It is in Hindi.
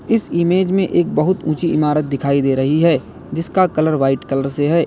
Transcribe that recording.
इस इमेज में एक बहुत ऊंची इमारत दिखाई दे रही है जिसका कलर वाइट कलर से है।